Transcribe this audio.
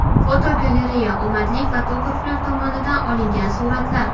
Fotogalereya: Omadli fotograflar tomonidan olingan suratlar.